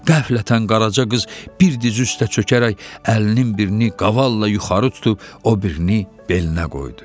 Qəflətən qaraca qız bir diz üstə çökərək əlinin birini qavalla yuxarı tutub, o birini belinə qoydu.